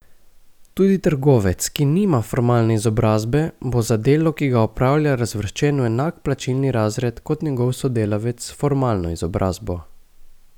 Tudi trgovec, ki nima formalne izobrazbe, bo za delo, ki ga opravlja, razvrščen v enak plačilni razred, kot njegov sodelavec s formalno izobrazbo.